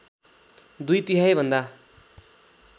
दुई तिहाइभन्दा